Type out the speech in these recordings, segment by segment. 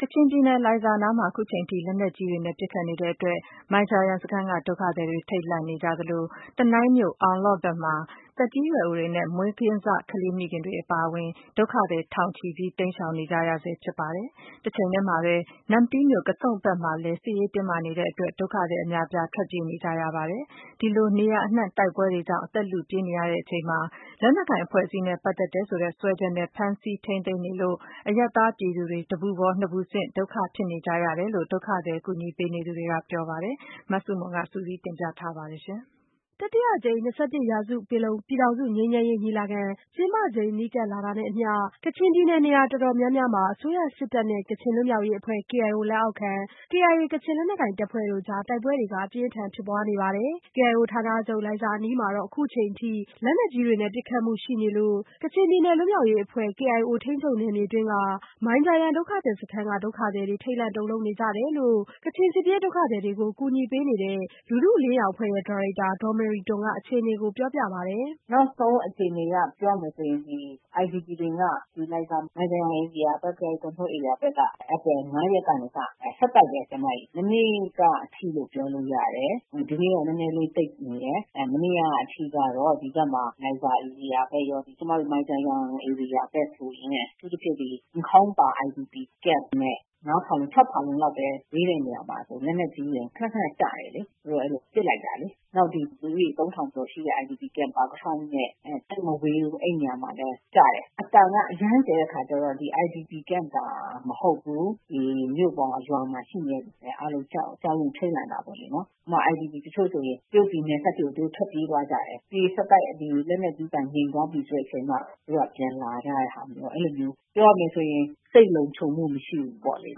ကချင်ပြည်နယ် လိုင်ဇာအနီးမှာ အခုအချိန်ထိ လက်နက်ကြီးတွေနဲ့ ပစ်ခတ်မှုတွေရှိနေတဲ့အတွက် မိုင်ဂျာယန်စခန်းကဒုက္ခသည်တွေ ထိတ်လန့်နေကြသလို တနိုင်းမြို့ အောင်လော့ဘက်မှာ သက်ကြီးရွယ်အိုတွေနဲ့မွေးကင်းစကလေးမိခင်တွေအပါအဝင် ဒုက္ခသည်ထောင်ချီ တိမ်းရှောင်နေကြရဆဲ ဖြစ်ပါတယ်။ တချိန်တည်းမှာပဲ နမ္မတီးမြို့ ကဆုန့်ဘက်မှာလည်း စစ်ရေးတင်းမာနေတဲ့အတွက် ဒုက္ခသည်အများအပြား ထွက်ပြေးနေကြရပါတယ်။ ဒီလိုနေရာအနှံ့ တိုက်ပွဲတွေကြောင့် အသက်လုပြေးနေရချိန်မှာပဲ လက်နက်ကိုင်အဖွဲ့အစည်းနဲ့ ပတ်သက်တယ်ဆိုတဲ့ စွဲချက်နဲ့ ဖမ်းဆီးထိန်းသိမ်းနေလို့ အရပ်သားပြည်သူတွေမှာ တပူပေါ်နှစ်ပူဆင့်ဒုက္ခဖြစ်နေကြရတယ်လို့ ဒုက္ခသည်ကူညီပေးနေသူတွေကပြောပါတယ်။ မဆုမွန် စုစည်းတင်ပြထားပါတယ်။ တတိယအကြိမ် ၂၁ရာစုပင်လုံ ပြည်ထောင်စုငြိမ်းချမ်းရေးညီလာခံ ကျင်းပချိန် နီးကပ်လာတာနဲ့အမျှ ကချင်ပြည်နယ် နေရာတော်တော်များများမှာ အစိုးရစစ်တပ်နဲ့ ကချင်လွတ်မြောက်ရေးအဖွဲ့ KIO လက်အောက်ခံ KIA ကချင်လက်နက်ကိုင်တပ်ဖွဲ့တို့ကြား တိုက်ပွဲတွေ အပြင်းထန်ဖြစ်ပွားနေပါတယ်။ KIO ဌာနချုပ် လိုင်ဇာအနီးမှာတော့ အခုအချိန်အထိ လက်နက်ကြီးတွေနဲ့ပစ်ခတ်မှုရှိနေလို့ ကချင်ပြည်နယ်လွတ်မြောက်ရေးအဖွဲ့ ထိန်းချုပ်နယ်မြေအတွင်းက မိုင်ဂျာယန်ဒုက္ခသည်စခန်းတွင်းက ဒုက္ခသည်တွေ ထိတ်လန့်တုန်လှုပ်နေကြတယ်လို့ ကချင်စစ်ပြေး ဒုက္ခသည်တွေကို ကူညီပေးနေတဲ့ လူထုအလင်းရောင်အဖွဲ့ရဲ့ ဒါရိုက်တာ ဒေါ်မေရီတွမ်က အခြေအနေကို ပြောပြပါတယ်။ "နောက်ဆုံးအခြေအနေအရ ပြောရမယ်ဆိုရင် IDP တွေက လိုင်ဇာ မိုင်ဂျာယန် KIO Control ဧရိယာမှာ ဧပြီ ၅ရက်နေ့ကနေစပြီး ဆက်တိုက်ပါပဲ မနေ့ကအထိလို့ပြောလို့ရပါတယ်။ ဒီနေ့တော့ နည်းနည်းလေး တိတ်နေတယ်။ မနေ့ကအထိကတော့ လိုင်ဇာဧရိယာဘက်ရော ကျမတို့ မိုင်ဂျာယန်ဧရိယာဘက်ဆိုရင် အထူးသဖြင့် နန့်ခေါင်ပါး IDP ကမ့်နဲ့ ငါးဖာလုံ ခြောက်ဖာလုံ ပဲ ဝေးတဲ့နေရာမှာ လက်နက်ကြီးတွေက ခနခန ကျတယ် ဟိုဘက်က ပစ်လိုက်တာလေ။ နောက် လူဦးရေ သုံးထောင်လောက်ပဲ ရှိတဲ့ ပါကထောင်နဲ့ သိပ်မဝေးဘူး အဲ့ဒီ့နေရာမှာလည်း ကျတယ်။ အသံက အရမ်းကျယ်တဲ့အခါကျတော့ IPD ကမ့်တောင် မဟုတ်ဘူး။ ဒီမြို့ရော ရွာမှာ ရှိနေတဲ့သူတွေပါ အားလုံးကြောက်ရွံ့ထိတ်လန့်နေကြတာပေါ့လေ။ ဥပမာ တချို့ IDP တွေဆို တရုတ်ပြည်နယ်စပ်အထိ ထွက်ပြေးသွားကြတယ်။ ဆက်တိုက်ကျနေပြီး လက်နက်ကြီးကျည်ကျတဲ့အသံ ငြိမ်သွားပြီဆိုမှ သူတို့ပြန်လာရဲကြတယ်။ အဲ့လိုမျိုးတွေဖြစ်နေတယ်။ ပြောရမယ်ဆိုရင် စိတ်လုံခြုံမှု မရှိဘူးပေါ့လေ။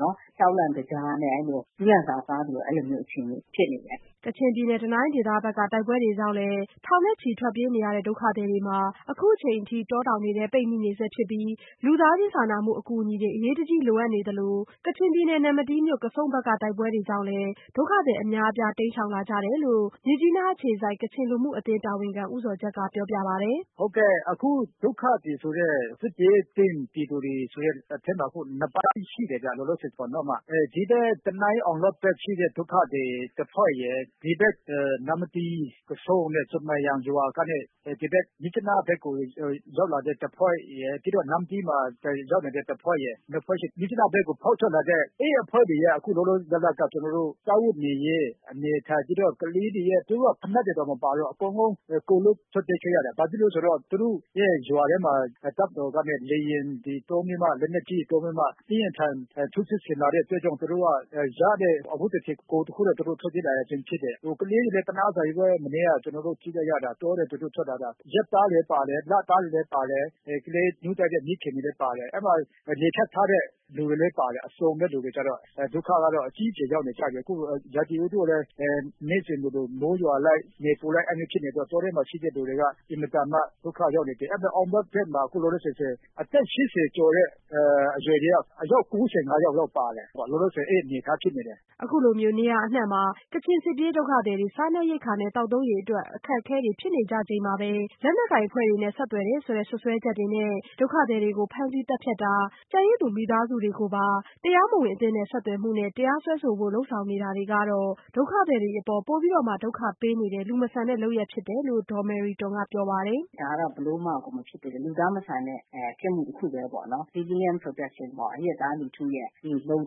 ကြောက်လန့်တကြားနဲ့ ကျီးလန့်စာစား အဲ့လိုအခြေအနေဖြစ်နေတယ်။" ကချင်ပြည်နယ် တနိုင်းဒေသဘက်က တိုက်ပွဲတွေကြောင့် ထောင်ချီထွက်ပြေးနေကြတဲ့ ဒုက္ခသည်တွေမှာလည်း အခုအချိန်အထိ တောတောင်ထဲပိတ်မိနေဆဲဖြစ်ပြီး လူသားချင်းစာနာမှုအကူညီတွေ အရေးတကြီးလိုအပ်နေသလို ကချင်ပြည်နယ် နမ္မတီးမြို့ ကဆုန့်ဘက်က တိုက်ပွဲတွေကြောင့်လည်း ဒုက္ခသည်တွေ အများအပြား တိမ်းရှောင်လာကြတယ်လို့ မြစ်ကြီးနားအခြေစိုက် ကချင်လူမှုအသင်းတာဝန်ခံ ဦးဇော်ဂျတ်ကပြောပြပါတယ်။ " အခုဒုက္ခသည်ဆိုတဲ့ စစ်ဘေးသင့်ပြည်သူတွေဆိုတဲ့အထဲမှာက အခုက နှစ်ပိုင်းရှိနေတယ်ဗျ လောလောဆယ်ပေါ့နော်။ ဒီဘက် တနိုင်း အောင်လေ့ာဒ် ဒုက္ခသည်ရှိတဲ့တဖွဲ့ရယ်၊ ဒီဘက် နမ္မတီး ကဆုန့် ဆွမ်ပရာရွာ မြစ်ကြီးနားဘက်ကို ရောက်လာတဲ့ တဖွဲ့ရယ် နမ္မတီးမှာ ရောက်လာတဲ့တဖွဲ့ရယ် နှစ်ဖွဲ့ရှိတယ်။ အဲ့ဒီ့အဖွဲ့တွေထဲက လောလောဆယ် မြစ်ကြီးနားဘက်ကို ဖောက်ထွက်လာတဲ့ အဖွဲ့တွေက လောလောဆယ် စားဝတ်နေရေး ကလေးတွေက ဖိနပ်တွေတောင် မပါဘူး အကုန်လုံး ကိုယ်လွတ်ထွက်ပြေးခဲ့ကြရတယ်။ ဘာဖြစ်လို့လဲဆိုတော့ သူတို့ရဲ့ရွာထဲမှာ တပ်မတော်က လေယာဉ်နဲ့ တွေသုံးပြီးမှ လက်နက်ကြီးတွေသုံးပြီးမှ အပြင်းအထန် ထိုးစစ်ဆင်လာတဲ့အတွက် သူတို့က ရတဲ့ အဝတ်တထည် ကိုယ်တခုနဲ့ သူတို့ ထွက်ပြေးလာရခြင်းဖြစ်တယ်။ ကလေးတွေက အရမ်းသနားဖို့ကောင်းတယ် တောထဲကနေ သူတို့ထွက်လာကြတာ မနေ့က ကျနော်တို့ကြည့်လိုက်ရတာလေ။ ရက်သားလေးတွေလည်းပါတယ် လသားလေးတွေလည်းပါတယ်။ ကလေးနို့တိုက်တဲ့မိခင်တွေလည်းပါတယ်။ အဲ့အထဲမှာ လေဖြတ်ထားတဲ့သူတွေလည်းပါတယ် အစုံပဲ ထွက်ပြေးလာကြတာ။ ဒုက္ခက အကြီးအကျယ်ကို ရောက်ခဲ့ကြတာ။ အခုက ရာသီဥတုကလည်း နေ့စဉ်လိုလို မိုးရွာလိုက် နေပူလိုက် အဲ့လိုမျိုးတွေဖြစ်နေတော့ တောထဲမှာ ရှိနေတဲ့သူတွေက အင်မတန်မှ ဒုက္ခရောက်နေကြတယ်။ အောင်လေ့ာဘက်မှာဆိုရင် အသက် ၈၀ကျော် အရွယ်က အယောက် ၉၅ယောက်လောက်ပါခဲ့တယ်။ လောလောဆယ် အဲ့လိုအနေအထားဖြစ်နေတယ်။" အခုလို နေရာအနှံ့မှာ ကချင်စစ်ပြေးဒုက္ခသည်တွေ စားနပ်ရိက္ခာနဲ့ သောက်သုံးရေအတွက် အခက်အခဲဖြစ်နေချိန်မှာပဲ လက်နက်ကိုင်အဖွဲ့တွေနဲ့ဆက်သွယ်တယ်ဆိုတဲ့စွပ်စွဲချက်တွေနဲ့ ဒုက္ခသည်တွေကို ဖမ်းဆီးသတ်ဖြတ်တာ ကျန်ရစ်သူမိသားစုတွေကိုပါ တရားစွဲဆိုဖို့လုပ်ဆောင်နေတာတွေကတော့ ဒုက္ခသည်တွေအပေါ် ပိုပြီးတော့မှ ဒုက္ခပေးရာရောက်နေတဲ့ လူမဆန်တဲ့လုပ်ရပ်ဖြစ်တယ် လို့ဒေါ်မေရီတွမ်ကပြောပါတယ်။ " ဒါက ဘယ်လိုမှကို မဖြစ်သင့်တဲ့ လူသားမဆန်တဲ့ ပြစ်မှုတခုပဲပေါ့နော် Civilian Protection ပေါ့ အရပ်သားလူထုရဲ့ လုံ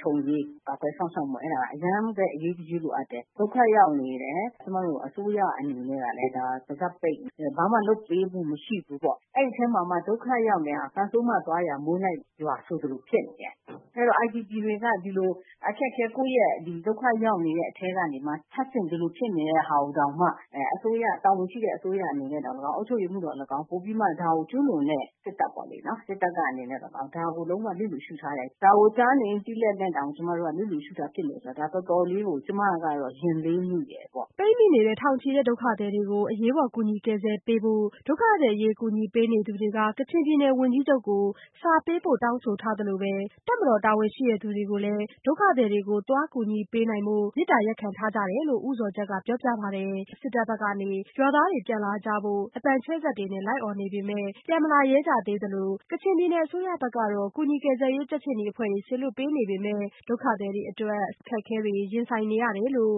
ခြုံရေးကာကွယ်စောင့်ရှောက်မှုက အရမ်းပဲ အရေးတကြီး လိုအပ်တယ်။ ဒုက္ခရောက်နေတဲ့သူတွေကို ကျမတို့ အစိုးရအနေနဲ့ ပါးစပ်ပိတ်ပြီးတော့ ဘာမှ လုပ်ပေးမှု မရှိဘူး။ ဒုက္ခရောက်နေတဲ့သူတွေကို ကံဆိုးမသွားရာ မိုးလိုက်လို့ရွာဆိုသလို IDP တွေမှာ အခက်အခဲ ဒုက္ခရောက်နေရတဲ့အထဲကနေမှ ထပ်ဆင့် ဒီလိုဖြစ်နေတာကိုတောင်မှ တာဝန်ရှိတဲ့အစိုးရတွေ အုပ်ချုပ်သူတွေ နောက် ကျူးလွန်တဲ့စစ်တပ်ပေါ့လေနော် စစ်တပ်ကနေပြီးတော့ ဒါကို လျစ်လျူရှု့ထားတယ် ဒါကို ကြားနေ သိနေလျက်နဲ့တောင် လျစ်လျူရှု့နေတာဖြစ်တဲ့အတွက် ဒါကို ကျမအနေနဲ့ကတော တော်တော်လေးကို ရင်လေးမိတယ်။" ပိတ်မိနေတဲ့ ထောင်ချီတဲ့ဒုက္ခသည်တွေကို အရေးပေါ်ကူညီကယ်ဆယ်ပေးဖို့ ဒုက္ခသည်အရေးကူညီပေးနေသူတွေက ကချင်ပြည်နယ်ဝန်ကြီးချုပ်ကို စာပေးပို့တောင်းဆိုထားသလို တပ်မတော်တာဝန်ရှိသူတွေကိုလည်း ဒုက္ခသည်တွေကို သွားကူညီပေးနိုင်ဖို့ သွားခွင့်ပြုဖို့ မေတ္တာရပ်ခံထားကြတယ်လို့ သိရပါတယ်။ အခုအချိန်အထိကတော့ တပ်ဘက်ကနေ ရွာသားတွေပြန်လာကြဖို့ အသံချဲ့စက်တွေနဲ့ အော်နေပေမဲ့ ဒေသခံတွေကပြန်မလာရဲကြသေးသလို ကချင်ပြည်နယ်အစိုးရဘက်ကတော့ ကူညီကယ်ဆယ်ရေးကြက်ခြေနီအဖွဲ့တွေ စေလွှတ်ပေးနေပေမဲ့ ဒုက္ခသည်တွေ တွေအတွက် ဆေးဝါး သောက်သုံးရေနဲ့ အစားသောက် အခက်အခဲတွေနဲ့ ရင်ဆိုင်နေရတယ်လို့